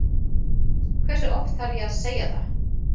Hversu oft þarf ég að segja það?